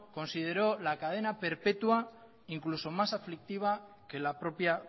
consideró la cadena perpetua incluso más aflictiva que la propia